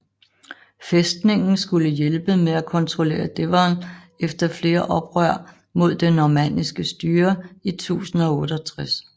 Fæstningen skulle hjælpe med at kontrollere Devon efter flere oprør mod det normanniske styre i 1068